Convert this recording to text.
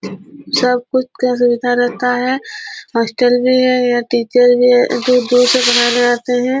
सब कुछ का सुविधा रहता है हॉस्टल भी है यहाँ टीचर भी दुर-दुर से पड़ाने आते है।